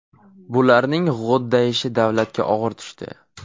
Bularning g‘o‘ddayishi davlatga og‘ir tushdi.